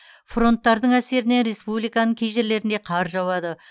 фронттардың әсерінен республиканың кей жерлерінде қар жауады